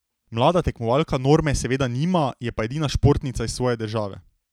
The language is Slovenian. Mlada tekmovalka norme seveda nima, je pa edina športnica iz svoje države.